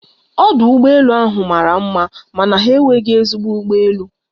Ọdụ ụgbọ elu ahụ mara mma mana ha enweghị ezigbo ụgbọ elu